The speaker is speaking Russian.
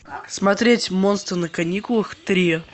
смотреть монстры на каникулах три